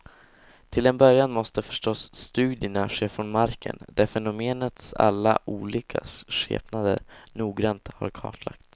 Till en början måste förstås studierna ske från marken, där fenomenets alla olika skepnader noggrannt har kartlagts.